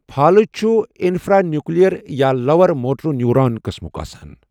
فالٕج چُھ اِنفرٛانِیوٗکٕلیر یا lower motor neuron قٕسمک آسان